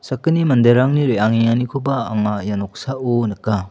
sakgni manderangni reangenganikoba anga ia noksao nika.